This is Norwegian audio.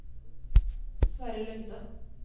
Sverre Lunde